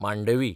Mandovi